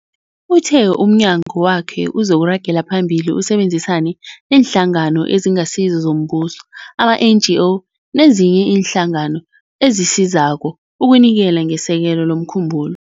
Uthe umnyagwakhe uzoragela phambili usebenzisane neeNhlangano eziNgasizo zoMbuso, ama-NGO, nezinye iinhlangano ezisizako ukunikela ngesekelo lomkhumbulo.